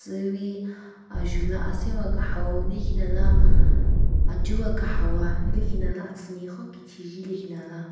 Tsuwi ajula asenwa kaha wo nenikhinala achuwa kahawa nelekhinala atsüne khon kecheje nelekhinala.